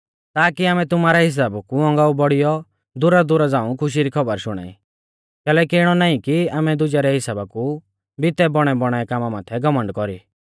ताकी आमै तुमारै हिसाबा कु औगांऊ बौड़ियौ दूरदुरा झ़ाऊं खुशी री खौबर शुणाई कैलैकि इणौ नाईं कि आमै दुजै रै हिसाबा भितै बौणैबौणाऐ कामा माथै घमण्ड कौरी